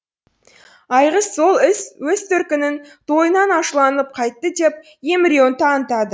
айғыз сол өз төркінінің тойынан ашуланып қайтты деп емеуірін танытады